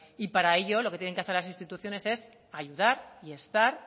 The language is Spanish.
y para ello lo que deben hacer las instituciones es ayudar estar